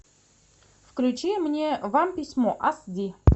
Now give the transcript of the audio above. включи мне вам письмо ас ди